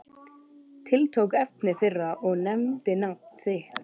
Tiltók efni þeirra og nefndi nafn þitt.